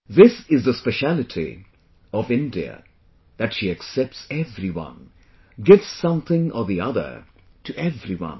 This is the specialty of India that she accepts everyone, gives something or the other to everyone